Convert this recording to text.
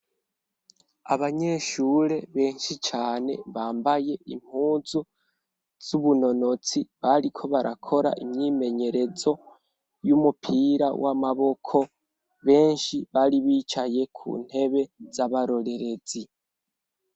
Abanyeshure benshi cane, bambaye impunzu z'ubunonotsi, bariko barakora imyimenyerezo y'umupira w'amaboko, benshi bari bicaye ku ntebe z'abarorerezi.